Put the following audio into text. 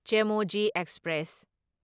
Chemmozhi express